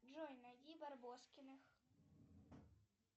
джой найди барбоскиных